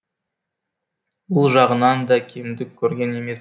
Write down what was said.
бұл жағынан да кемдік көрген емес